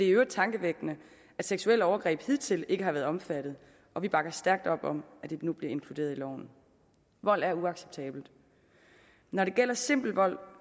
i øvrigt tankevækkende at seksuelle overgreb hidtil ikke har været omfattet og vi bakker stærkt op om at det nu bliver inkluderet i loven vold er uacceptabelt når det gælder simpel vold